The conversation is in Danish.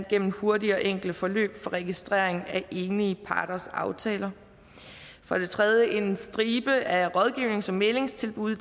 gennem hurtige og enkle forløb for registrering af enige parters aftaler for det tredje en stribe af rådgivnings og mæglingstilbud i